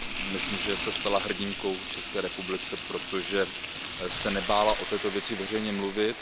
Myslím, že se stala hrdinkou v České republice, protože se nebála o této věci veřejně mluvit.